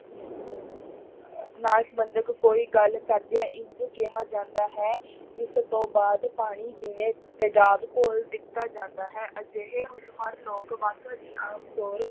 ਨਾਲ ਸੰਬੰਧਿਤ ਕੋਈ ਗੱਲ ਕਰਦਿਆਂ ਇੰਞ ਕਿਹਾ ਜਾਂਦਾ ਹੈ ਇਸ ਤੋਂ ਬਾਅਦ ਪਾਣੀ ਜਿਵੇਂ ਤੇਜ਼ਾਬ ਘੋਲ ਦਿੱਤਾ ਜਾਂਦਾ ਹੈ ਅਜਿਹੇ ਹੋਨਹਾਰ ਲੋਕ ਆਮ ਤੌਰ